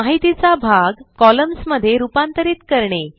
माहितीचा भाग कॉलम्न्स मध्ये रूपांतरित करणे